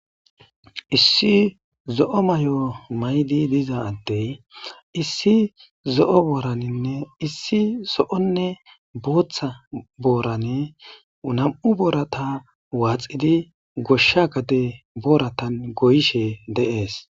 Issi zo'o mayo mayidi diza adey issi zo'one issi zo'one bootha masatiza boran nam'u borata waxidi gosha gade boratan goyishe de'es